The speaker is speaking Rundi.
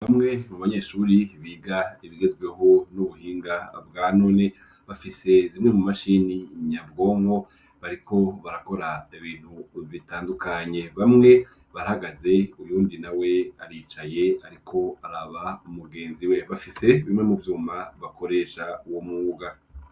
Bamwe mu banyeshuri biga ibigezweho n'ubuhinga bwanone bafise zimwe mu mashini nya bwonko bariko barakora da bintu bitandukanye bamwe barahagaze uyundi na we aricaye ariko araba umugenzi we bafise bimwe mu vyuma bakoresha uwo mwuga.